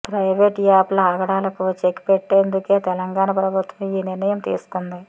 private యాప్ల ఆగడాలకు check పెట్టేందుకే తెలంగాణ ప్రభుత్వం ఈ నిర్ణయం తీసుకుంది